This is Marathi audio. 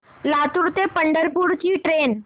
लातूर ते पंढरपूर ची ट्रेन